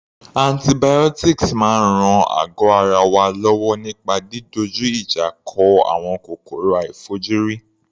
Antibiotics máa ń ran àgọ́ ara wa lọ́wọ́ nípa didojú ìjà kọ àwọn kòkòrò àìfojúrí.